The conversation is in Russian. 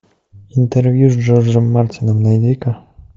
интервью с джорджем мартином найди ка